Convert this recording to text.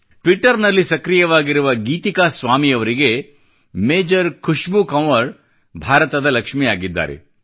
Twitter ನಲ್ಲಿ ಸಕ್ರಿಯವಾಗಿರುವ ಗೀತಿಕಾ ಸ್ವಾಮಿ ಅವರಿಗೆ ಮೇಜರ್ ಖುಷ್ಬೂ ಕಂವರ್ ಭಾರತದ ಲಕ್ಷ್ಮಿ ಆಗಿದ್ದಾರೆ